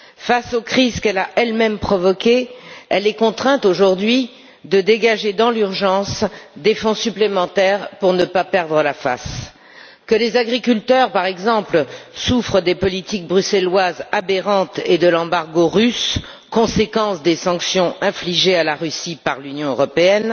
Face aux crises qu'elle a elle même provoquées, elle est contrainte aujourd'hui de dégager dans l'urgence des fonds supplémentaires pour ne pas perdre la face. Que les agriculteurs, par exemple, souffrent des politiques bruxelloises aberrantes et de l'embargo russe, conséquence des sanctions infligées à la Russie par l'Union européenne,